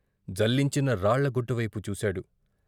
జల్లించిన రాళ్ళ గుట్టువైపు చూశాడు.